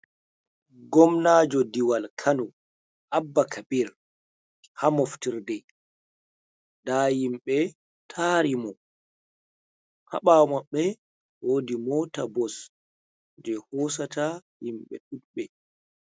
Gomnajo diwal kano abba kabir ha moftirde nda yimɓe tari mo haɓawo mabbe wodi mota bos je hosata yimɓe ɗuɗɓe.